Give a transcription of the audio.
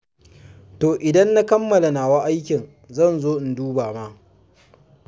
To idan na kammala nawa aikin zan zo in duba ma.